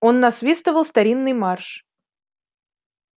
он насвистывал старинный марш